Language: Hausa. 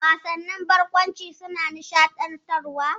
Wasannin barkwanci suna nishaɗantarwa.